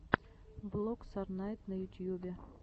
влог сорнайд на ютьюбе